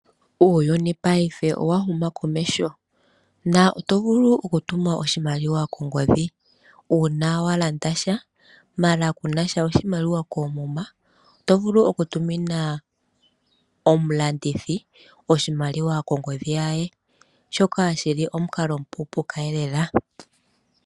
Uuyuni paife owa huma komeho . Otovulu okutuma oshimaliwa kongodhi uuna walanda sha ndele kunasha oshimaliwa koomuma . Otovulu okutuminwa omulandithi oshimaliwa mongodhi ye. Shoka shili omukalo omupuupuuka elela.